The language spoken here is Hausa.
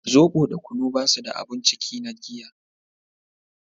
zobo da kunu ba su da abun ciki na giya